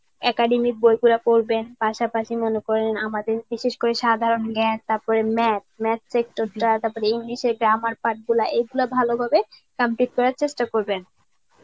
academic বই খুলে পড়বেন. পাশাপাশি মনে করেন আমাদের বিশেষ করে সাধারণ জ্ঞান, তারপরে math, math check টুকরা, তারপরে english এ grammar part গুলা এগুলা ভালোভাবে complete করার চেষ্টা করবেন.